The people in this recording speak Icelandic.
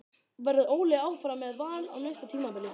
Verður Óli áfram með Val á næsta tímabili?